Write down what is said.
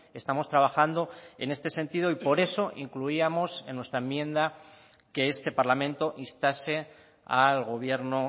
estamos trabajando en este sentido y por eso incluíamos en nuestra enmienda que este parlamento instase al gobierno